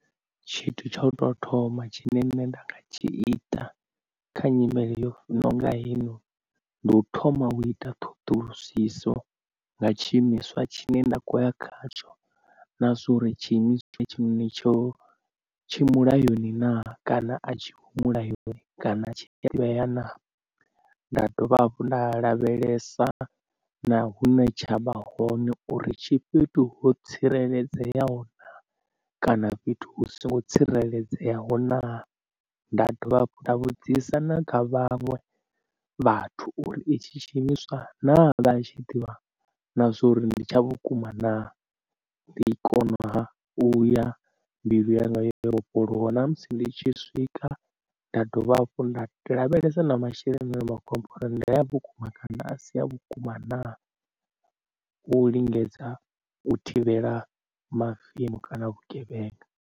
Tshithu tsha u tou thoma tshine nṋe nda nga tshi ita kha nyimele yo nonga hei noni ndi u thoma u ita ṱhoḓulusiso nga tshi imiswa tshine nda khoya khatsho na zwori tshiimiswa hetshi noni tshi mulayoni naa kana a tshi ho mulayoni kana tshi na nda dovha hafhu nda lavhelesa na hune tshavha hone uri tshi fhethu ho tsireledzeaho na kana fhethu hu songo tsireledzeaho na. Nda dovha nda vhudzisa na kha vhaṅwe vhathu uri i tshi tshi imiswa na vha tshi ḓivha na zwori ndi tsha vhukuma naa ndi i kona ha u ya mbilu yanga yo vhofholowa na musi ndi tshi swika. Nda dovha hafhu nda zwilavhelesa na masheleni ane vha khou ambiwa uri ndia vhukuma kana a si a vhukuma naa u lingedza u thivhela mavemu kana vhugevhenga.